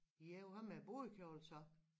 Ja hvad med brudekjole så?